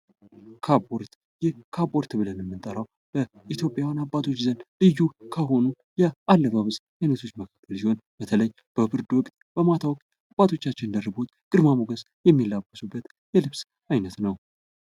ካፖርት፦ ይህ ካፖርት ብለን የምንጠረው በኢትዮጵያውያን አባቶች ዘንድ ልዩ ከሆኑ የአለባበስ አይነቶች መካከል ሲሆን በተለይ በብርድ ወቅት በማታ አባቶቻችን ደርበዎት ግርማ ሞገስ የሚላበሱበት የልብስ አይነት ነው ።